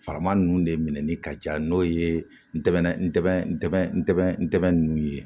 Fama ninnu de minɛli ka ca n'o ye n tɛmɛna n tɛ n tɛ n tɛmɛnnu ye